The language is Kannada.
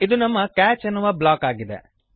ಇದು ನಮ್ಮ ಕ್ಯಾಚ್ ಎನ್ನುವ ಬ್ಲಾಕ್ ಆಗಿದೆ